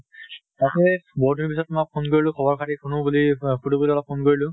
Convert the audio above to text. তাকে বহুত দিনৰ পিছত তোমাক phone কৰিলোঁ। খবৰ খাতি শুনু বুলি আহ সুধু বুলি অলপ phone কৰিলোঁ।